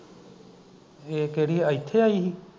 ਏਹ ਕਿਹਦੀ ਆਇਥੇ ਆਈ ਸੀ